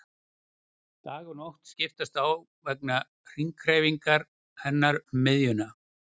Dagur og nótt skiptast á vegna hringhreyfingar hennar um miðjuna.